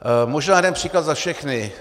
Možná jeden příklad za všechny.